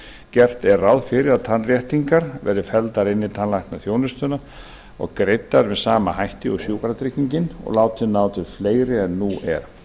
gert er ráð fyrir að tannréttingar verði felldar inn í tannlæknaþjónustuna og greiddar með sama hætti og sjúkratryggingin og látin ná til fleiri en nú er